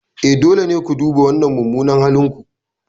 E, dole ne ku duba wannan mummunan halin ku.